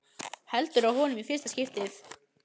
Heldur á honum í fyrsta skipti.